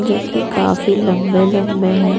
जो की काफी लंबे-लंबे हैं।